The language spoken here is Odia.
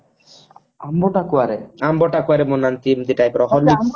ଆମ୍ବ ଟାକୁଆ ରେ ଆମ୍ବ ଟାକୁଆରେ ବନାନ୍ତି ଏମତି type ରେ କଣ